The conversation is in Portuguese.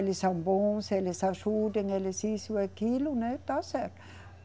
Eles são bons, eles ajudam, eles isso e aquilo, né, tá certo.